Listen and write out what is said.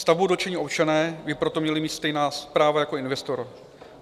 Stavbou dotčení občané by proto měli mít stejná práva jako investor.